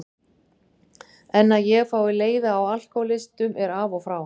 En að ég fái leiða á alkohólistum er af og frá.